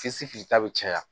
ta bɛ caya